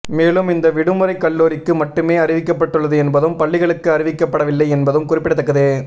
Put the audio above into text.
மேலும் இந்த விடுமுறை கல்லூரிக்கு மட்டுமே அறிவிக்கப்பட்டுள்ளது என்பதும் பள்ளிகளுக்கு அறிவிக்கப்படவில்லை என்பதும் குறிப்பிடத்தக்கது